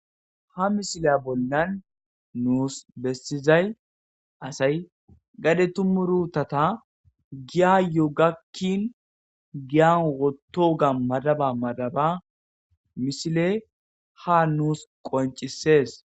ha misile bolnan nuus bessizay asay gade tumurutata giyayo gakkin giyan woto ga madaba madaba mishile ha nuus qoncisees